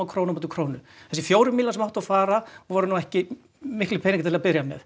krónu á móti krónu þessir fjórir milljarðar sem áttu að fara voru nú ekki miklir peningar til að byrja með